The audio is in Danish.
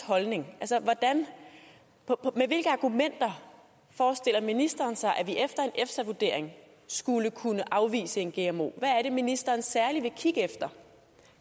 holdning er med hvilke argumenter forestiller ministeren sig at vi efter en efsa vurdering skulle kunne afvise en gmo hvad er det ministeren særlig vil kigge efter